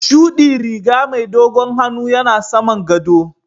shuɗi riga mai dogon hannu yana saman gaɗo.